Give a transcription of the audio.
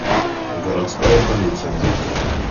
городская полиция найти